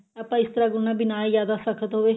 ਆਪਾਂ ਇਸ ਤਰ੍ਹਾਂ ਗੁੰਨਣਾ ਵੀ ਨਾ ਜਿਆਦਾ ਸਖਤ ਹੋਵੇ